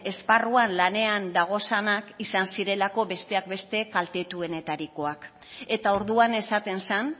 esparruan lanean dagozanak izan zirelako besteak beste kaltetuenetarikoak eta orduan esaten zen